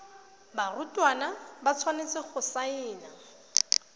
barutwana ba tshwanetse go saena